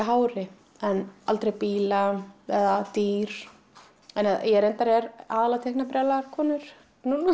hári aldrei bíla eða dýr en ég reyndar er aðallega að teikna brjálaðar konur núna